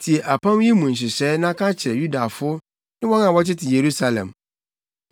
“Tie apam yi mu nhyehyɛe na ka kyerɛ Yudafo ne wɔn a wɔtete Yerusalem.